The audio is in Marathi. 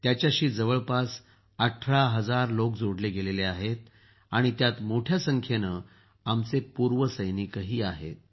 तिच्याशी जवळपास १८ हजार लोक जोडले गेले आहेत आणि त्यात मोठ्या संख्येंनं आमचे पूर्व सैनिकही आहेत